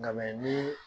Nka ni